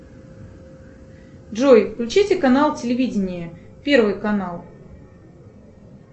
джой включите канал телевидение первый канал